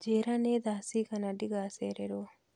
Njĩra nĩ thaa cigana ndigacererwo